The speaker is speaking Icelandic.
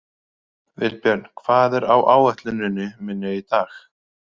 Vilbjörn, hvað er á áætluninni minni í dag?